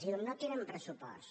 i diu no tenen pressupost